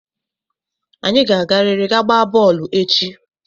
Anyị ga-agarịrị ga gbaa bọọlụ echi!